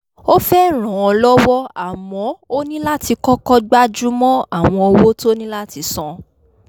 ó fẹ́ ràn án lọ́wọ́ àmọ́ ó ní láti kọ́kọ́ gbájúmọ́ àwọn owó tó ní láti san